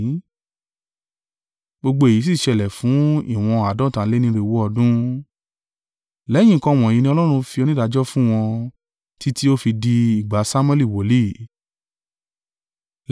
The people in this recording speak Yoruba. Gbogbo èyí sì ṣẹlẹ̀ fún ìwọ̀n àádọ́ta lé ní irinwó (450) ọdún. “Lẹ́yìn nǹkan wọ̀nyí ni Ọlọ́run fi onídàájọ́ fún wọn, títí ó fi di ìgbà Samuẹli wòlíì.